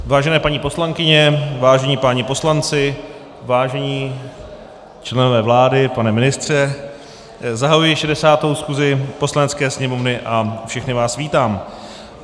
Vážené paní poslankyně, vážení páni poslanci, vážení členové vlády, pane ministře, zahajuji 60. schůzi Poslanecké sněmovny a všechny vás vítám.